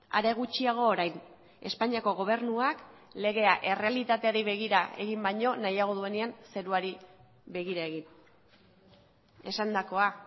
are gutxiago orain espainiako gobernuak legea errealitateari begira egin baino nahiago duenean zeruari begira egin esandakoa